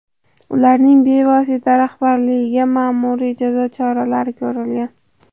Ularning bevosita rahbarlariga ma’muriy jazo choralari ko‘rilgan.